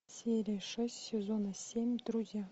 серия шесть сезона семь друзья